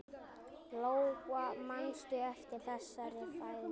Lóa: Manstu eftir þessari fæðingu?